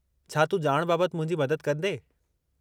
छा तूं ॼाण बाबति मुंहिंजी मदद कंदें?